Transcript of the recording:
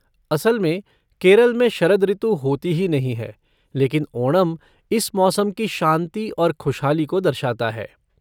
असल में, केरल में शरद ऋतु होती ही नहीं है, लेकिन ओणम इस मौसम की शांति और खुशहाली को दर्शाता है।